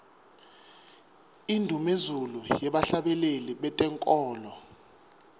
indnumezulu yebahlabeleli bentenkholo